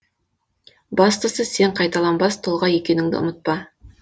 бастысы сен қайталанбас тұлға екеніңді ұмытпа